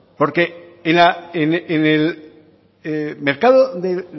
porque en el mercado de